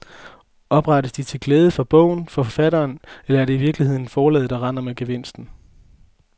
Oprettes de til glæde for bogen, for forfatteren, eller er det i virkeligheden forlaget der render med gevinsten?